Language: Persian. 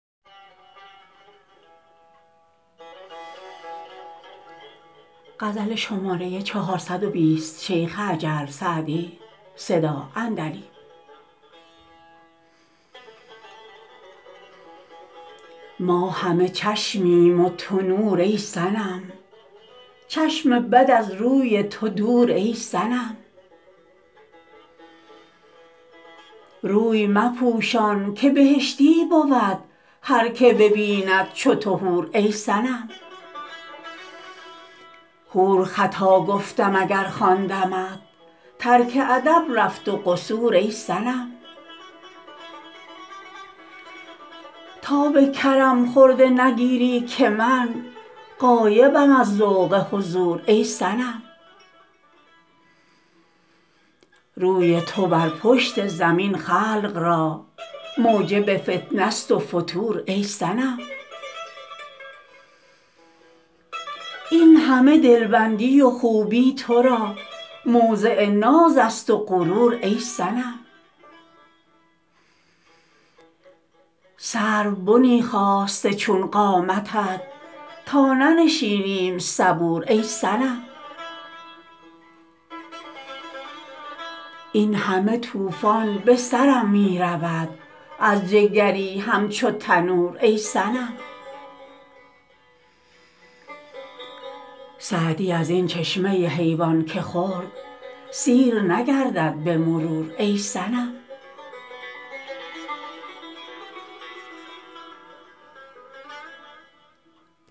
ما همه چشمیم و تو نور ای صنم چشم بد از روی تو دور ای صنم روی مپوشان که بهشتی بود هر که ببیند چو تو حور ای صنم حور خطا گفتم اگر خواندمت ترک ادب رفت و قصور ای صنم تا به کرم خرده نگیری که من غایبم از ذوق حضور ای صنم روی تو بر پشت زمین خلق را موجب فتنه ست و فتور ای صنم این همه دلبندی و خوبی تو را موضع ناز است و غرور ای صنم سروبنی خاسته چون قامتت تا ننشینیم صبور ای صنم این همه طوفان به سرم می رود از جگری همچو تنور ای صنم سعدی از این چشمه حیوان که خورد سیر نگردد به مرور ای صنم